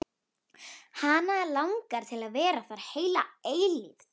Hana langar til að vera þar heila eilífð.